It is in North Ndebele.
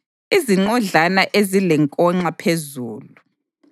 izinqodlana ezilenkonxa phezulu;